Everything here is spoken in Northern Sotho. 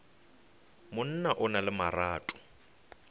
monna o na le marato